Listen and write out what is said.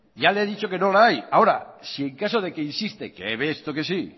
ya le he dicho que no la hay ahora si en caso de que insiste que he visto que sí